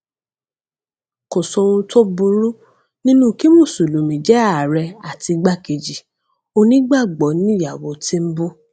kò sóhun tó burú nínú kí mùsùlùmí jẹ ààrẹ àti igbákejì onígbàgbọ níyàwó tìǹbù